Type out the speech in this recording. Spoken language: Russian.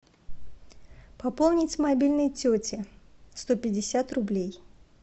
пополнить мобильный тети сто пятьдесят рублей